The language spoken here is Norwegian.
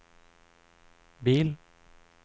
bil